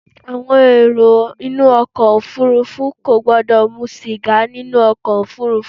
Àwọn èrò inú ọkọ òfúrúfú kò gbọ́dọ̀ mu sìgá nínú ọkọ̀ ofúrúfú.